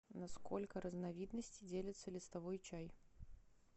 на сколько разновидностей делятся листовый чай